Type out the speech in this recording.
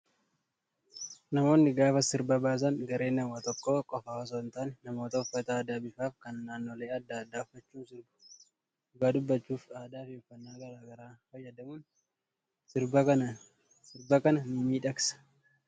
Namoonni gaafa sirba baasan gareen namoota tokkoo qofaa osoo hin taane, namoota uffata aadaa bifaa fi kan naannolee adda addaa uffachuun sirbu. Dhugaa dubbachuuf aadaa fi uffannaa garaagaraa fayyadamuun sirba kana ni miidhagsa.